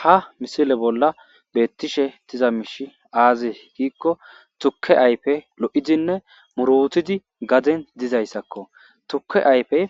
Ha misile bolla beettishe tiza miishi aazi giikko tuke ayfe lo7idinne muroutidi gaden dizayssakko tuke ayfe